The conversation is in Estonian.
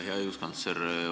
Hea õiguskantsler!